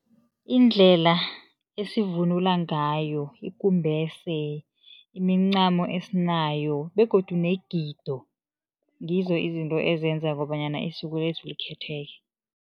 Indlela esivunula ngayo ikumbese imincamo esinayo begodu negido ngizo izinto ezenza kobanyana likhetheke.